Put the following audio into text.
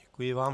Děkuji vám.